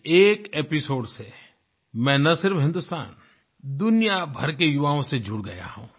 इस एक एपिसोड से मैं न सिर्फ हिंदुस्तान दुनिया भर के युवाओं से जुड़ गया हूँ